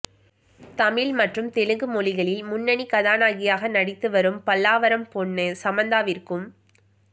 தமிழ் மற்றும் தெலுங்கு மொழிகளில் முன்னணி கதாநாயகியாக நடித்து வரும் பல்லாவரம் பொண்ணு சமந்தாவிற்கும்